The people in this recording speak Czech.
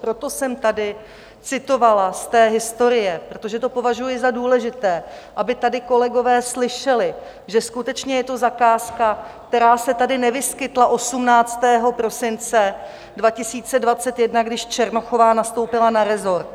Proto jsem tady citovala z té historie, protože to považuji za důležité, aby tady kolegové slyšeli, že skutečně je to zakázka, která se tady nevyskytla 18. prosince 2021, když Černochová nastoupila na resort.